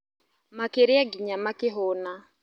Makĩrĩa nginya makĩ hũna.